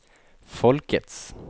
folkets